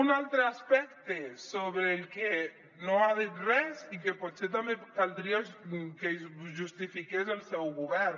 un altre aspecte sobre el que no ha dit res i que potser també caldria que justifi·qués el seu govern